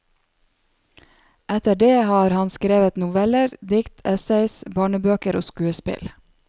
Etter det har han skrevet noveller, dikt, essays, barnebøker og skuespill.